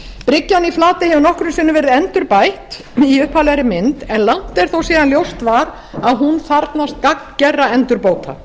bryggjan í flatey hefur nokkrum sinnum verið endurbætt í upphaflegri mynd en langt er þó síðan að ljóst var að hún þarfnast gagngerra endurbóta